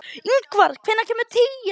Ingvar, hvenær kemur tían?